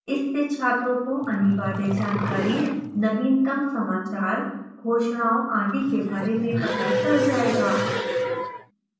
इससे छात्रों को अनिवार्य जानकारी नवीनतम समाचार घोषणाओं आदि के बारे में पता चल जाएगा